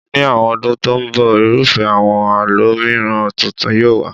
Ní àwọn ọdún tó ń bọ̀, irúfẹ́ àwọn àlọ́ mìiràn tuntun yóò wà.